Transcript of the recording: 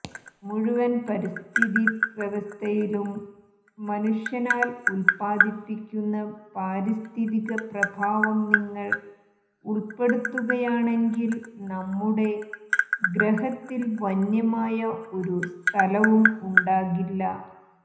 മുഴുവൻ പരിസ്ഥിതി വ്യവസ്ഥയിലും മനുഷ്യനാൽ ഉൽപ്പാദിപ്പിക്കുന്ന പാരിസ്ഥിതിക പ്രഭാവം നിങ്ങൾ ഉൾപ്പെടുത്തുകയാണെങ്കിൽ നമ്മുടെ ഗ്രഹത്തിൽ വന്യമായ ഒരു സ്ഥലവും ഉണ്ടാകില്ല